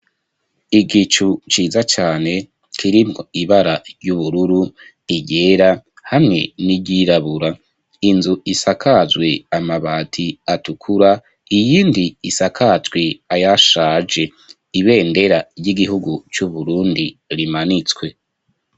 Igicu, ciza cane, kirimwo ibara ry'ubururu, iryera, hamwe n'iryirabura; inzu isakajwe amabati, atukura, iyindi isakajwe, ayashaje; ibendera ry'igihugu, c'Uburundi, rimanitswe.